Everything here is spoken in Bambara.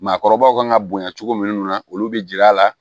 Maakɔrɔbaw kan ka bonya cogo munnu na olu bɛ jiri a la